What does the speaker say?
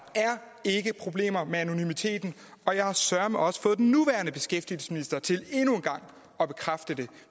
ikke problemer med anonymiteten og jeg har søreme også fået den nuværende beskæftigelsesminister til endnu en gang at bekræfte det